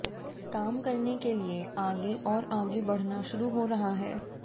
काम करने के लिए आगे और आगे बढ़ना शुरू हो रहा है